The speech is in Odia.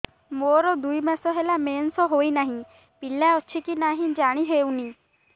ମୋର ଦୁଇ ମାସ ହେଲା ମେନ୍ସେସ ହୋଇ ନାହିଁ ପିଲା ଅଛି କି ନାହିଁ ଜାଣି ହେଉନି